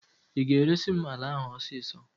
Ị ga-eresi m ala ahụ ọsịsọ!